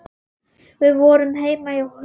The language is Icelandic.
Við vorum heima hjá Huldu.